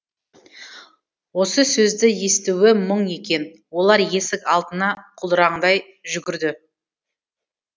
осы сөзді естуі мұң екен олар есік алдына құлдыраңдай жүгірді